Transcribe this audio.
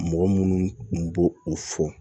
Mɔgɔ minnu kun b'o o fɔ